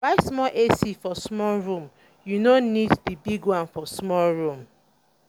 buy small ac for small room you no um need di big one for small room